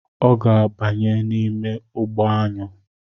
Ọ ga-abanye n'ime ugbo aṅụ